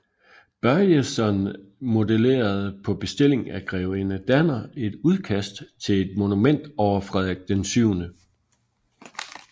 Börjeson modelerede på bestilling af grevinde Danner et udkast til et monument over Frederik VII